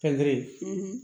Pɛntiri